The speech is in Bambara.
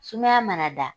Sumaya mana da